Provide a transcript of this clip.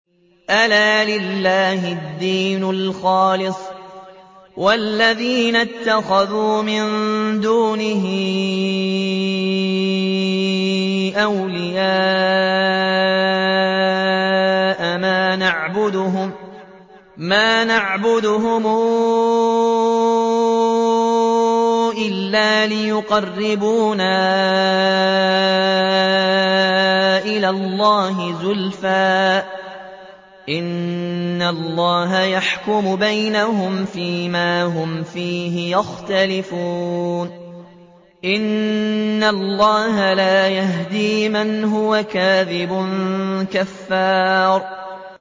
أَلَا لِلَّهِ الدِّينُ الْخَالِصُ ۚ وَالَّذِينَ اتَّخَذُوا مِن دُونِهِ أَوْلِيَاءَ مَا نَعْبُدُهُمْ إِلَّا لِيُقَرِّبُونَا إِلَى اللَّهِ زُلْفَىٰ إِنَّ اللَّهَ يَحْكُمُ بَيْنَهُمْ فِي مَا هُمْ فِيهِ يَخْتَلِفُونَ ۗ إِنَّ اللَّهَ لَا يَهْدِي مَنْ هُوَ كَاذِبٌ كَفَّارٌ